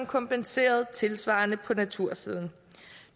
kompenseret tilsvarende på natursiden